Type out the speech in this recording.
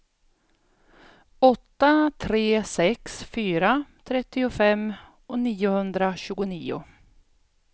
åtta tre sex fyra trettiofem niohundratjugonio